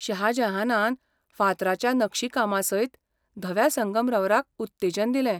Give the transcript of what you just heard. शाह जहानान फातराच्या नक्षीकामासयत धव्या संगमरवराक उत्तेजन दिलें.